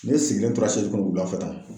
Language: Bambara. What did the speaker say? Ne sigilen tora kɔnɔ wulafɛ tan